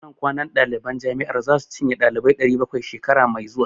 Ɗakunan kwanan ɗaliban jami'ar zasu cinye ɗalibai 700, shekara mai zuwa.